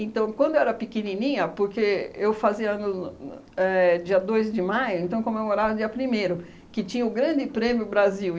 quando eu era pequenininha, porque eu fazia ano no éh dia dois de maio, então comemorava no dia primeiro, que tinha o grande prêmio Brasil.